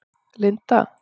Linda